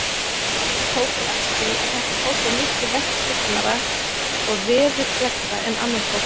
Tók hún eftir því, að þetta fólk var miklu verkhyggnara og veðurgleggra en annað fólk.